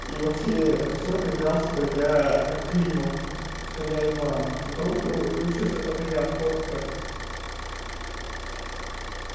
и вообще а с чего ты взял что я климов что я иван вдруг и вообще что это моя фотка